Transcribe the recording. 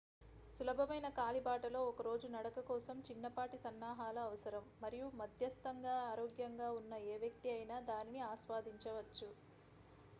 సులభమైన కాలిబాటలో ఒక రోజు నడక కోసం చిన్నపాటి సన్నాహాలు అవసరం మరియు మధ్యస్తంగా ఆరోగ్యంగా ఉన్న ఏ వ్యక్తి అయినా దానిని ఆస్వాదించవచ్చు